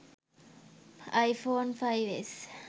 iphone 5s